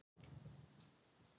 Þetta voru sanngjörn úrslit